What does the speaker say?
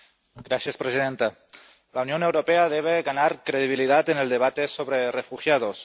Señora presidenta, la Unión Europea debe ganar credibilidad en el debate sobre los refugiados.